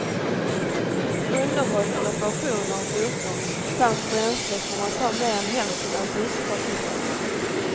Underhåll och reparationer av motorn samt bränsle kommer att ta mer än hälften av driftkostnaden.